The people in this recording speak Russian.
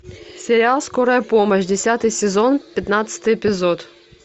сериал скорая помощь десятый сезон пятнадцатый эпизод